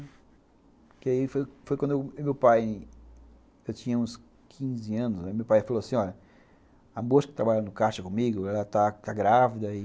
Porque aí foi quando o meu pai, eu tinha uns quinze anos, meu pai falou assim, olha, a moça que trabalha no ccaixa comigo, ela tá grávida e...